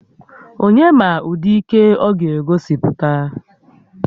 Onye ma ụdị ike ọ ga-egosipụta?